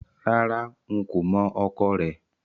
Rárá, n kò mọ̀ ọkọ rẹ̀